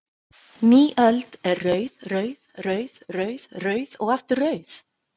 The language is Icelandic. Ný öld er rauð, rauð, rauð, rauð, rauð og aftur rauð?